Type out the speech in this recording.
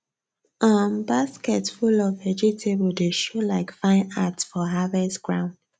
um basket full of vegetable dey show like fine art for harvest ground